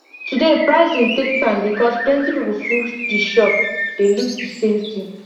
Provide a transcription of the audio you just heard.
today pricing take time because plenty people full the shop dey look the same thing